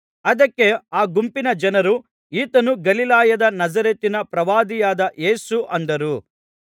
ಅದಕ್ಕೆ ಆ ಗುಂಪಿನ ಜನರು ಈತನು ಗಲಿಲಾಯದ ನಜರೇತಿನ ಪ್ರವಾದಿಯಾದ ಯೇಸು ಅಂದರು